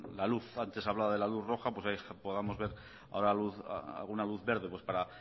la luz antes hablaba de la luz roja pues ahí podamos ver ahora alguna luz verde para